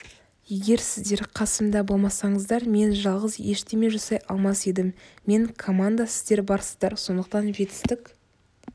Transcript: егер сіздер қасымда болмасаңыздар мен жалғыз ештеме жасай алмас едім мен команда сіздер барсыздар сондықтан жетістік